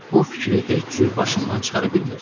Bu fikri heç cür başımdan çıxara bilmirdim.